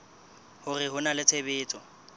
hore ho na le tshebetso